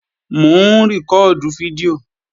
Mò ń rìkọ́ọ̀dù fídíò